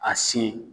A sin